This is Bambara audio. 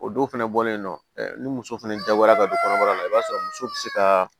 O don fɛnɛ bɔlen nɔ ɛ ni muso fɛnɛ dabɔra ka don kɔnɔbara la i b'a sɔrɔ muso be se kaa